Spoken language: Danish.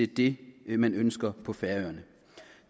det man ønsker på færøerne